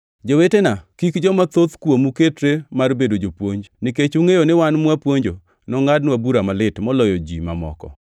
Jowetena, kik joma thoth kuomu ketre mar bedo jopuonj, nikech ungʼeyo ni wan mwapuonjo nongʼadnwa bura malit moloyo ji mamoko.